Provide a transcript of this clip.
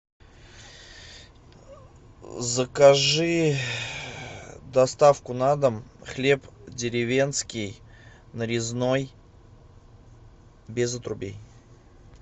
закажи доставку на дом хлеб деревенский нарезной без отрубей